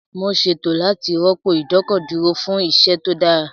Mo ṣètò láti rọ́pò ìdọ́kọ̀dúró fún iṣẹ́ tó dára